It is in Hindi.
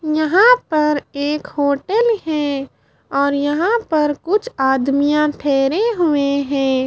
यहां पर एक होटल हैं और यहां पर कुछ आदमियां ठहरे हुए हैं।